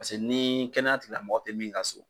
Paseke ni kɛnɛyatigilamɔgɔ tɛ min ka so